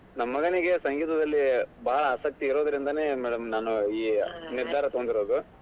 ನಮ್ ಮಗನಿಗೆ ಸಂಗೀತದಲ್ಲಿ ಬಾಳ್ ಆಸಕ್ತಿ ಇರೋದ್ರಿಂದಾನೇ madam ನಾನೂ ಈ ನಿರ್ಧಾರ ತುಗೊಂದಿರೋದು.